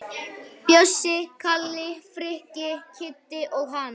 Bjössi, Kalli, Frikki, Kiddi og hann.